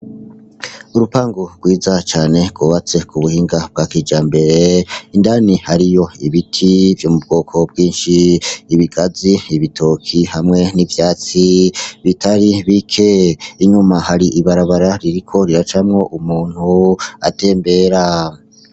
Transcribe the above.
Urupangu rwiza cane rw'ubatse k'ubuhinga bwa kijambere, indani hariyo ibiti vyo mu bwoko bwinshi, ibigazi, ibitoki hamwe n'ivyatsi bitari bike, inyuma hari ibarabara ririko riracamwo umuntu atembera.